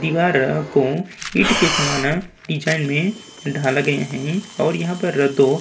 दीवार को ईंट के समान डिजाइन में ढाले गयें हैं और यहाँ पर तो --